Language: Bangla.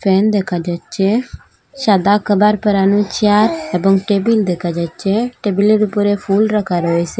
ফ্যান দেখা যাচ্চে সাদা কাভার পড়ানো চেয়ার এবং টেবিল দেকা যাচ্চে টেবিল -এর উপরে ফুল রাখা রয়েসে।